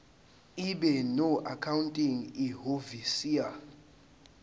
ibe noaccounting ihhovisir